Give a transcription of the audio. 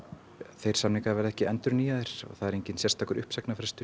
þeir samningar verða ekki endurnýjaðir það er enginn sérstakur uppsagnarfrestur